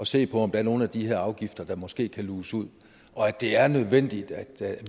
se på om der er nogle af de her afgifter der måske kan luges ud og at det er nødvendigt at